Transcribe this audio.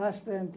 Bastante.